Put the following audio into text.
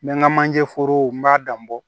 N bɛ n ka manje forow n b'a dan bɔ